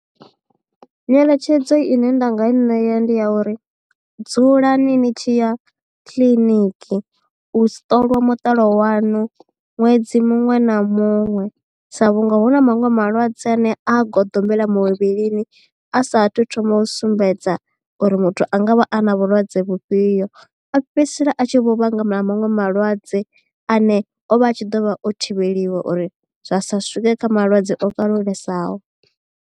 Nyeletshedzo ine nda nga i ṋea ndi ya uri dzulani ni tshi ya kiḽiniki u si ṱolwa mutalo waṋu ṅwedzi muṅwe na muṅwe sa vhunga hu na maṅwe malwadze ane a goḓombela muvhilini a sa thu thoma u sumbedza uri muthu a nga vha a na vhulwadze vhufhio a fhedzisela a tshi vho vhanga maṅwe malwadze ane o vha a tshi ḓo vha o thivheliwa uri zwa sa swike kha malwadze o kalulesaho.